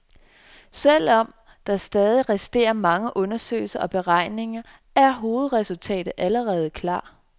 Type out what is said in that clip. Og selv om der stadig resterer mange undersøgelser og beregninger, er hovedresultaterne allerede klar.